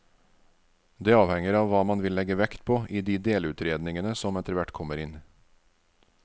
Det avhenger av hva man vil legge vekt på i de delutredningene som etterhvert kommer inn.